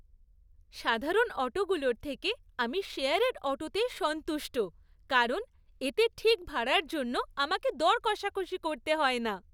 সাধারণ অটোগুলোর থেকে, আমি শেয়ারের অটোতেই সন্তুষ্ট কারণ এতে ঠিক ভাড়ার জন্য আমাকে দর কষাকষি করতে হয় না।